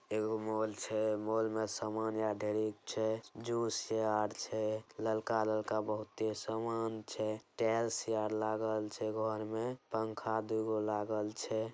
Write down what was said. एगो मोल छे मॉल में सामान यहाँ ढेरी छे | जूस छेआर् छे ललका-ललका बहुत ही सामान छे | टाइल्स यहाँ लागेल छे घर मे पंखा दूगो लागेल छे ।